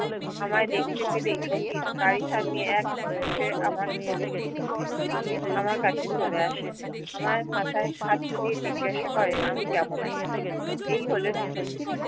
আমায় দেখতে পেলে শচীন গাড়ি থামিয়ে এক ছুটে আমার কলে আমার কাছে চলে আসে আমায় মাথায় হাত বুলিয়ে জিঙ্গাসা করে আমি কেমন আছি এই হলেন শচীন